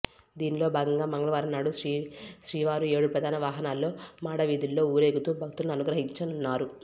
దీనిలో భాగంగా మంగళవారం నాడు శ్రీవారు ఏడు ప్రధాన వాహనాల్లో మాడవీధుల్లో ఊరేగుతూ భక్తులను అనుగ్రహించనున్నారు